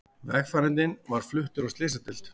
Vegfarandinn var fluttur á slysadeild